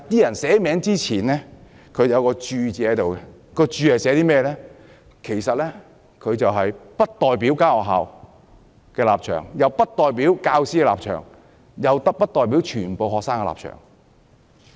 但是，在聯署前有一個註腳，註明不代表該學校的立場，也不代表教師的立場，亦不代表全部學生的立場。